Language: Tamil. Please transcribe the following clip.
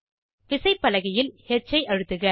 விசைப்பலகையில் ஹ் ஐ அழுத்துக